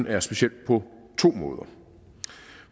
er specielt på to måder